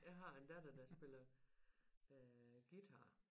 Jeg har en datter der spiller guitar